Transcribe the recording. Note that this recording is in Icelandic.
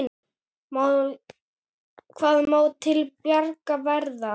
Hvað má til bjargar verða?